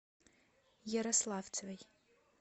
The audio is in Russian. ярославцевой